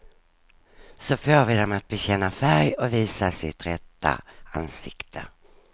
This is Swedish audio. Så får vi dem att bekänna färg och visa sitt rätta ansikte.